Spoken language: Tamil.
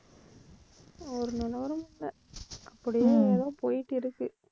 ஒரு நிலவரம் இல்லை அப்படியே ஏதோ போயிட்டிருக்கு